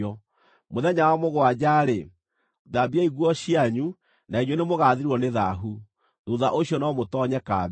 Mũthenya wa mũgwanja-rĩ, thambiai nguo cianyu na inyuĩ nĩ mũgaathirwo nĩ thaahu. Thuutha ũcio no mũtoonye kambĩ.”